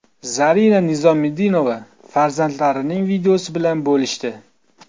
Zarina Nizomiddinova farzandlarining videosi bilan bo‘lishdi.